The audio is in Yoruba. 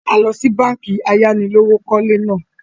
À lọ síí báànkì ayánilówókọ̀lé náà